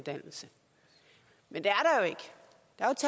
der er en kort